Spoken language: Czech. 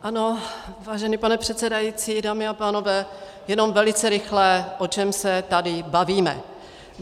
Ano, vážený pane předsedající, dámy a pánové, jenom velice rychle, o čem se tady bavíme.